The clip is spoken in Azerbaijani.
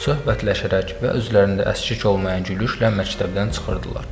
Söhbətləşərək və özlərində əskik olmayan gülüşlə məktəbdən çıxırdılar.